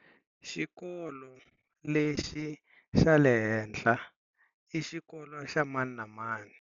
Xikolo lexi xa le ehehla i xikolo xa mani na mani.